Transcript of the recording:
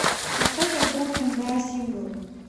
поставь альбом энбэа сингл